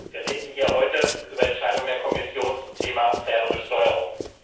Wir reden hier heute über Entscheidungen der Kommission zum Thema faire Besteuerung.